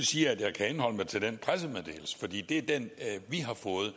sige at jeg kan henholde mig til den pressemeddelelse for det er den vi har fået